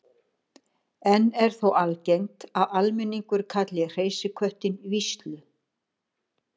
enn er þó algengt að almenningur kalli hreysiköttinn víslu